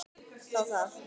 Þá það.